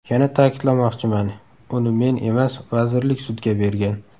Yana ta’kidlamoqchiman, uni men emas, vazirlik sudga bergan.